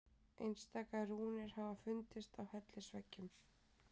Einstaka rúnir hafa fundist á hellisveggjum.